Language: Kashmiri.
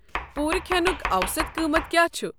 پوٗرٕ کھٮ۪نُک اوسط قۭمتھ کیٛاہ چھُ؟